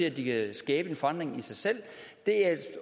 at de kan skabe en forandring i sig selv